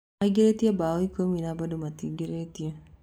Maĩngĩrĩtie mbao ĩkũmi na bado matiingĩrĩtio.